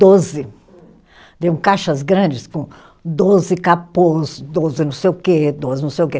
Doze. De um caixas grandes com doze capôs, doze não sei o quê, doze não sei o quê.